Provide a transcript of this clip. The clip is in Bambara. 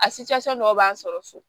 A dɔw b'an sɔrɔ so